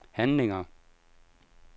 handlinger